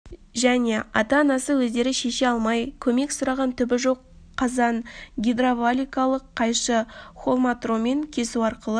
және ата-анасы өздері шеше алмай көмек сұраған түбі жоқ қазан гидравликалық қайшы холматромен кесу арқылы